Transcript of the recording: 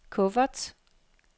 kuffert